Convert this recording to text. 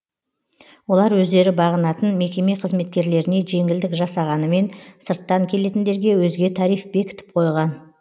олар өздері бағынатын мекеме қызметкерлеріне жеңілдік жасағанымен сырттан келетіндерге өзге тариф бекітіп қойған